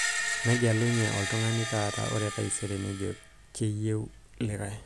negelunyi oltungani taata ore taisere nejo keyieu likai